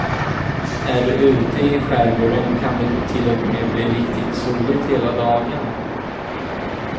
Är du ute i skärgården kan det till och med bli riktigt soligt hela dagen.